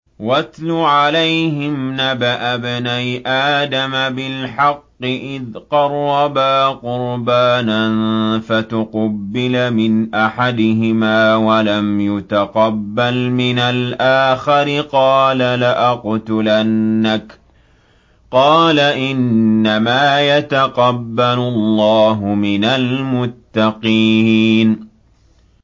۞ وَاتْلُ عَلَيْهِمْ نَبَأَ ابْنَيْ آدَمَ بِالْحَقِّ إِذْ قَرَّبَا قُرْبَانًا فَتُقُبِّلَ مِنْ أَحَدِهِمَا وَلَمْ يُتَقَبَّلْ مِنَ الْآخَرِ قَالَ لَأَقْتُلَنَّكَ ۖ قَالَ إِنَّمَا يَتَقَبَّلُ اللَّهُ مِنَ الْمُتَّقِينَ